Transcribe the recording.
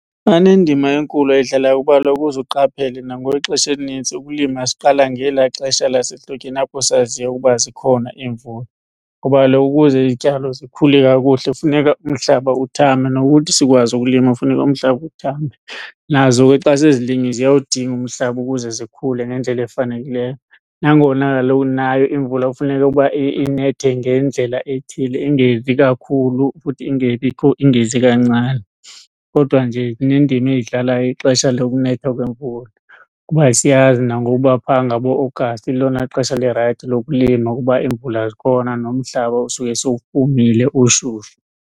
Banendima enkulu ayidlalayo kuba kaloku uze uqaphele nangoku ixesha elinintsi ukulima siqala ngelaa xesha lasehlotyeni apho sazi ukuba zikhona iimvula. Ngoba kaloku ukuze izityalo zikhule kakuhle funeka umhlaba uthambe nokuthi sikwazi ukulima kufuneka umhlaba uthambe. Nazo ke xa sezilinyiwe ziyawudinga umhlaba ukuze zikhule ngendlela efanekileyo. Nangona kaloku nayo imvula kufuneka uba inethe ngendlela ethile ingezi kakhulu futhi ingebikho ingezi kancane. Kodwa nje inendima eyidlalayo ixesha lokunetha kwemvula kuba siyazi nangoku uba phaa ngaboAugust lilona xesha lirayithi lokulima kuba imvula zikhona nomhlaba usuke sewufumile ushushu.